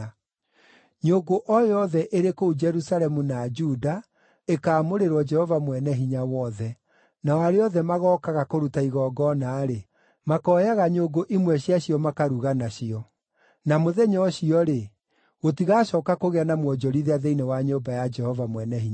Nyũngũ o yothe ĩrĩ kũu Jerusalemu na Juda ĩkaamũrĩrwo Jehova Mwene-Hinya-Wothe, nao arĩa othe magookaga kũruta igongona-rĩ, makooyaga nyũngũ imwe cia cio makaruga nacio. Na mũthenya ũcio-rĩ, gũtigacooka kũgĩa na mwonjorithia thĩinĩ wa nyũmba ya Jehova Mwene-Hinya-Wothe.